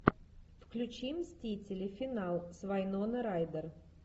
включи мстители финал с вайноной райдер